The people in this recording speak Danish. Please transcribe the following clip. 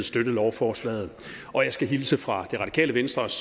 støtte lovforslaget og jeg skal hilse fra det radikale venstres